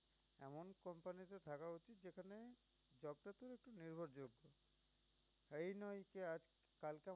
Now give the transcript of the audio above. এই নয় সে আজ